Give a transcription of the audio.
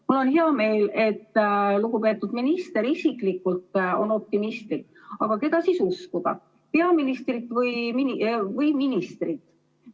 Mul on hea meel, et lugupeetud minister isiklikult on optimistlik, aga keda siis uskuda – peaministrit või ministrit?